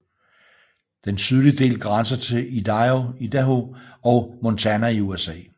Den sydlige del grænser til Idaho og Montana i USA